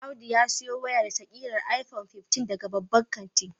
Audu ya siyo wayarsa kirar iPhone 15 daga babban kanti.